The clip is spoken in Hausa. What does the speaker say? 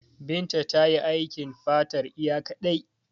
Binta tayi aikin fatar iya kaɗai.